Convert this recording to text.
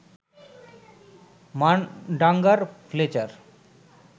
Mundungus Fletcher